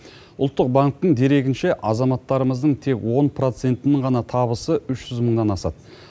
ұлттық банктің дерегінше азаматтарымыздың тек он процентінін ғана табысы үш жүз мыңнан асады